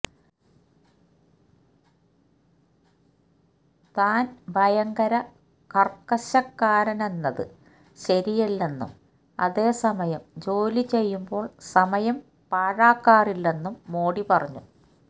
താന് ഭയങ്കര കര്ക്കശക്കാരനെന്നത് ശരിയല്ലെന്നും അതേസമയം ജോലി ചെയ്യുമ്പോള് സമയം പാഴാക്കാറില്ലെന്നും മോഡി പറഞ്ഞു